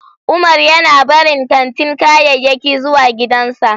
Umar yana barin katin kayayyaki zuwa gidansa.